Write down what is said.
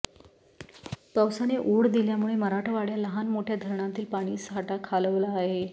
पावसाने ओढ दिल्यामुळे मराठवाड्यात लहानमोठ्या धरणातील पाणीसाठा खालावला आहे